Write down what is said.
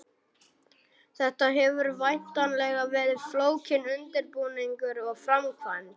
Þetta hefur væntanlega verið flókinn undirbúningur og framkvæmd?